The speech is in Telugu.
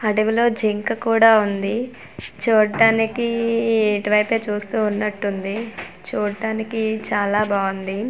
అడవిలో జింక కూడా ఉంది చూడ్డానికి ఇటువైపే చూస్తూ ఉన్నట్టుంది చూడ్డానికి చాలా బావుంది.